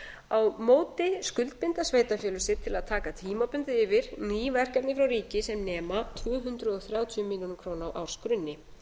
á móti skuldbinda sveitarfélög sig til að taka tímabundið yfir ný verkefni frá ríki sem nema tvö hundruð þrjátíu milljónir króna á ársgrunni